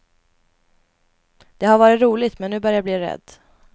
Det har varit roligt men nu börjar jag bli rädd.